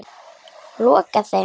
Lokaði þeim.